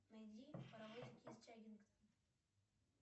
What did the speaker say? найди паровозики из чаггингтона